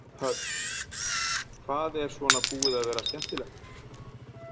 Hödd: Hvað er svona búið að vera skemmtilegt?